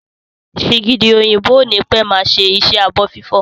Sìgìdì òyìnbó ó ní pẹ́ máa ṣe iṣẹ́ ẹ abọ́ fífọ̀